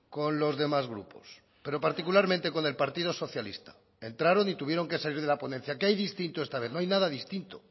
con los demás grupos pero particularmente con el partido socialista entraron y tuvieron que salir de la ponencia qué hay distinto esta vez no hay nada distinto